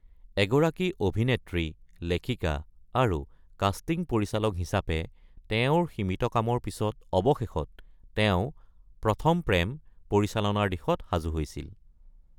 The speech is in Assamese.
এগৰাকী অভিনেত্ৰী, লেখিকা আৰু কাষ্টিং পৰিচালক হিচাপে তেওঁৰ সীমিত কামৰ পিছত অৱশেষত তেওঁ প্ৰথম প্ৰেম - পৰিচালনাৰ দিশত সাজু হৈছিল।